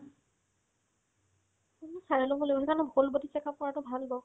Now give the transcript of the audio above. তুমি চাই ল'ব লাগিব সেইকাৰণে whole body check up কৰাতো ভাল ন